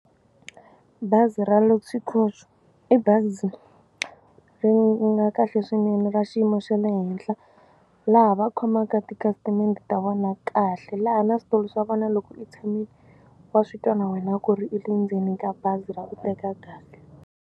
Bazi ra Luxy Coach i bazi ri nga kahle swinene ra xiyimo xa le henhla laha va khomaka tikhasitamende ta vona kahle laha na switulu swa vona loko i tshamile wa swi twa na wena ku ri i le ndzeni ka bazi ra ku teka kahle.